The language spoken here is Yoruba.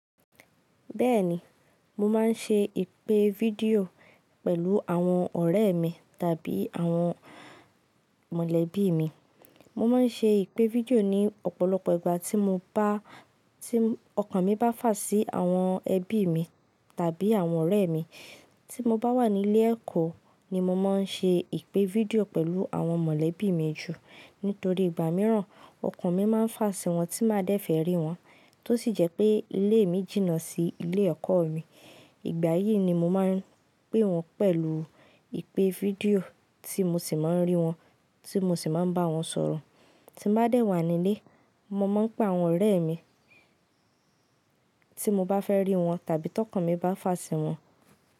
Bẹ́ẹ̀ni, mo máa ń ṣe ìpè fídíò pẹ̀lú àwọn ọ̀rẹ́ mi tàbí àwọn mọ̀lẹ́bí mi. Mo máa ń ṣe ìpè fídíò ní ọ̀pọ̀lọpọ̀ ìgbà tí mo bá, tí ọkàn mi bá fà sí àwọn ẹbí mi tàbí àwọn ọ̀rẹ́ mi. Tí mo bá wà ní ilé ẹ̀kọ́ ni mo máa ń ṣe ìpè fídíò pẹ̀lú àwọn mọ̀lẹ́bí mi jù. Nítorí ìgbà mìíràn, ọkàn mi máa ń fà sí wọn tí máa dẹ́fẹ̀ rí wọn. Tó sì jẹ́ pé ilé mi jìnnà sí ilé ẹ̀kọ́ mi. Ìgbà yìí ni mo máa ń pé wọn pẹ̀lú ìpè fídíò tí mo sì máa ń rí wọn, tí mo sì máa ń bá wọn sọ̀rọ̀. Tí n bá dẹ̀ wà nílé, mo máa ń pé àwọn ọ̀rẹ́ mi tí mo bá fẹ́ rí wọn tàbí tí ọkàn mi bá fà sí wọn.